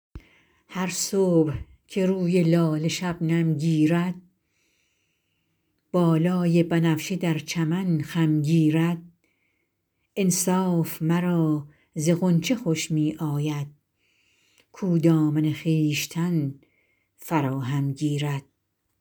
هر صبح که روی لاله شبنم گیرد بالای بنفشه در چمن خم گیرد انصاف مرا ز غنچه خوش می آید کاو دامن خویشتن فراهم گیرد